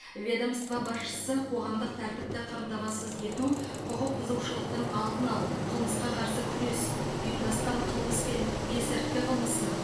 ведомство басшысы қоғамдық тәртіпті қамтамасыз ету құқық бұзушылықтың алдын алу қылмысқа қарсы күрес ұйымдасқан қылмыс пен есірткі қылмысына